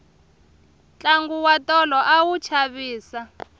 tlangu wa tolo a wu chavisa